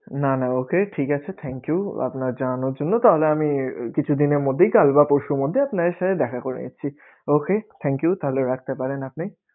না না ok ঠিক আছে Thank you আপনার জানানোর জন্য তাহলে আমি কিছুদিনের মধ্যেই কাল বা পরশুর মধ্যে আপনার এসে দেখা করে যাচ্ছি Ok thank you তাহলে রাখতে পারেন আপনি.